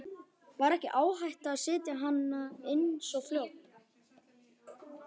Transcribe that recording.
Var ekki áhætta að setja hana inn svo fljótt?